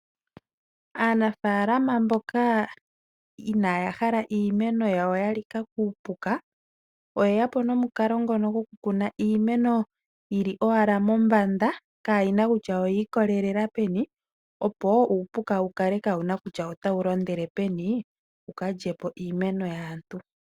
Aanafaalama mboka inaaya hala iimeno yawo ya lika kuupuka . Oye yapo nomukalo ngono goku kuna iimeno yili owala mombanda kaayina kutya oyiikololela peni opo uupuka wukale kaawuna kutya otawu londele peni wuka lyepo iimeno yaantu.